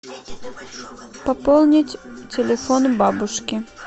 пополнить телефон бабушки